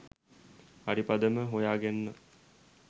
හරි පදම හොයා ගන්න.